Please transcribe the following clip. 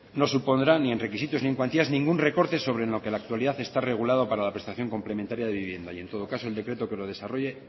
no supondrá ni en requisitos ni en cuantías ningún recorte sobre en lo que la actualidad está regulado para la prestación complementaria de vivienda y en todo caso el decreto que lo desarrolle